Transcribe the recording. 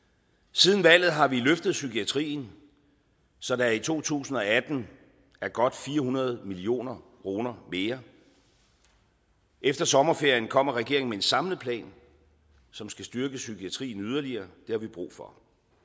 siden valget har vi løftet psykiatrien så der i to tusind og atten er godt fire hundrede million kroner mere efter sommerferien kommer regeringen med en samlet plan som skal styrke psykiatrien yderligere det har vi brug for